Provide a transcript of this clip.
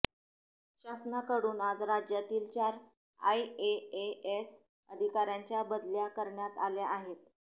शासनाकडून आज राज्यातील चार आयएएस अधिकाऱ्यांच्या बदल्या करण्यात आल्या आहेत